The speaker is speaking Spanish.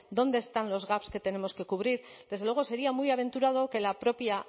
dónde están los gaps que tenemos que cubrir desde luego sería muy aventurado que la propia